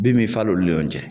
Bin mi falo olu le ɲɔn cɛ.